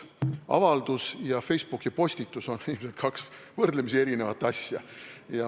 Avaldus ja Facebooki postitus on ilmselt kaks võrdlemisi erinevat asja.